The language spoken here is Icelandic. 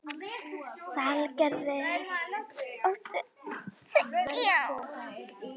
Salgerður, áttu tyggjó?